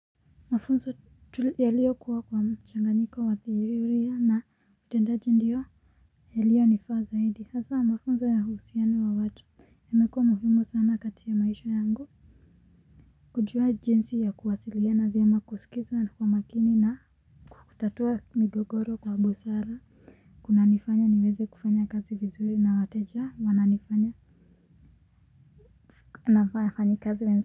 Mafunzo tu yaliokuwa kwa mchanganyiko wa theoria na utendaji ndio yalio nifaa zaidi sasa mafunzo yauhusiano wa watu yamekua muhimu sana kati ya maisha yangu kujua jinsi ya kuwasiliana vyema kusikiza ni kwa makini na kutatua migogoro kwa busara kunanifanya niweze kufanya kazi vizuri na watejaa wananifanya nafanya fanye kazi vizuri.